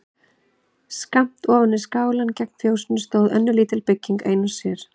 Skammt ofan við skálann gegnt fjósinu stóð önnur lítil bygging ein og sér.